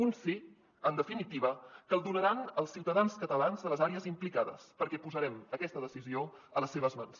un sí en definitiva que el donaran els ciutadans catalans de les àrees implicades perquè posarem aquesta decisió a les seves mans